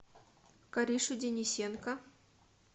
каришу денисенко